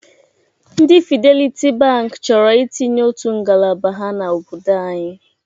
Ndị Fideliti Bankị chọrọ itinye otu ngalaba ha n'obodo anyị.